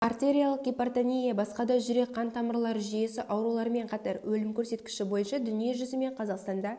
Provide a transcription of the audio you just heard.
артериалық гипертония басқа да жүрек қан тамырлары жүйесі ауруларымен қатар өлім көрсеткіші бойынша дүние жүзі мен қазақстанда